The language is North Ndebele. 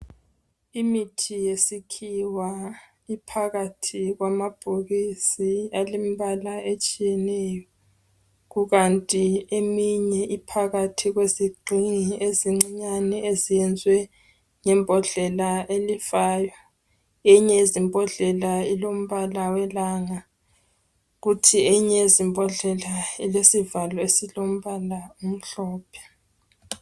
Imithi yesikhiwa iphakathi kwamabhokisi alembala etshiyeneyo kukanti eminye iphakathi kwezigxingi ezincinyane ezenzwe ngembodlela elifayo. Eyinye yezimbodlela ilombala welanga kuthi eyinye yezimbodlela ilesivalo esilombala omhlophe.